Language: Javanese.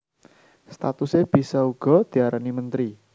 Statuse bisa uga diarani menteri